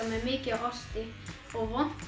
með mikið af osti og vont